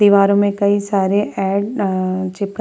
दीवारों में कई सारे एड अ चिपका --